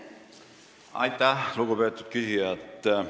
Aitäh, lugupeetud küsija!